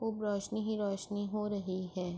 خوب روشنی ہے روشنی ہو رہی ہے۔